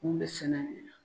Mun be sɛnɛ de la